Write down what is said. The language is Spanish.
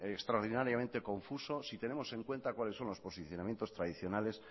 extraordinariamente confuso si tenemos en cuenta cuáles son los posicionamientos tradicionales